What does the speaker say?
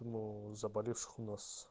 но заболевших у нас